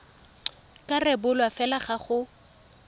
ka rebolwa fela fa go